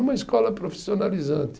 Numa escola profissionalizante.